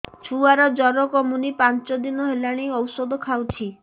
ଛୁଆ ଜର କମୁନି ପାଞ୍ଚ ଦିନ ହେଲାଣି ଔଷଧ ଖାଉଛି